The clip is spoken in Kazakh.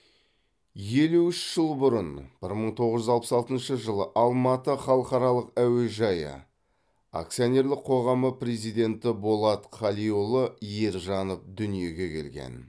елу үш жыл бұрын бір мың тоғыз жүз алпыс алтыншы жылы алматы халықаралық әуежайы акционерлік қоғамы президенті болат қалиұлы ержанов дүниеге келген